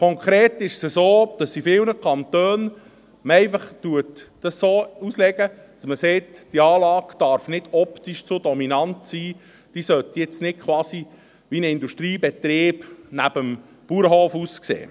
Konkret ist es so, dass man dies in vielen Kantonen einfach so auslegt, dass man sagt, die Anlage dürfe optisch nicht zu dominant sein, die sollte jetzt nicht quasi wie ein Industriebetrieb neben dem Bauernhof aussehen.